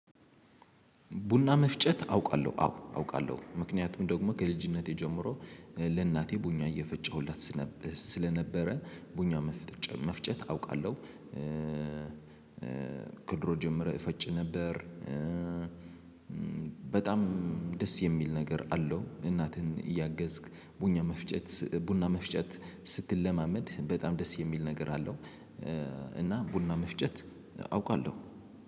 ቡና መፍጨት አውቃለሁ አዎ አውቃለሁ ምክንያቱም ደግሞ ከልጅነቴ ጀምሮ ለእናቴ ቡና እየፈጨሁላት ስለ ስለነበረ ቡኛ መፍ መፍጨት አውቃለሁ። ከድሮ ጀምሬ እፈጭ ነበር። በጣም ደስ የሚል ነገር አለው። እናትን እያገዝክ ቡኛ መፍጨት ቡና መፍጨት ስትለማመድ በጣም ደስ የሚል ነገር አለው። እና ቡና መፍጨት አውቃለሁ